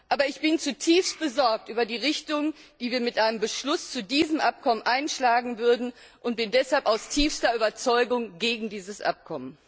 Aber ich bin zutiefst besorgt über die Richtung, die wir mit einem Beschluss zu diesem Abkommen einschlagen würden, und bin deshalb aus tiefster Überzeugung gegen dieses Abkommen.